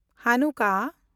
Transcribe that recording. ᱦᱟᱱᱩᱠᱟᱦ